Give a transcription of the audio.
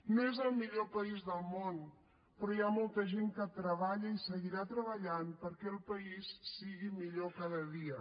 no és el millor país del món però hi ha molta gent que treballa i seguirà treballant perquè el país sigui millor cada dia